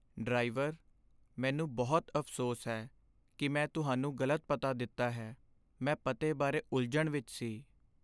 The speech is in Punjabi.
ਡਰਾਈਵਰ! ਮੈਨੂੰ ਬਹੁਤ ਅਫ਼ਸੋਸ ਹੈ ਕਿ ਮੈਂ ਤੁਹਾਨੂੰ ਗ਼ਲਤ ਪਤਾ ਦਿੱਤਾ ਹੈ। ਮੈਂ ਪਤੇ ਬਾਰੇ ਉਲਝਣ ਵਿੱਚ ਸੀ।